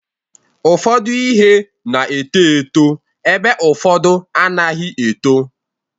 Ụfọdụ ihe na-eto eto ebe ụfọdụ anaghị eto.